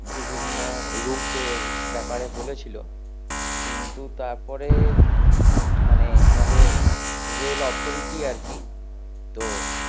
বিভিন্ন route এর ব্যাপারে বলেছিলো কিন্তু তারপরে উম মানে আমাদের রেল authority আর কি, তো